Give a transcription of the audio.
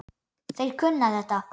Þeir kunna þetta.